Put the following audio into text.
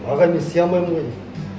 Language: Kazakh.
ағай мен істей алмаймын ғой дейді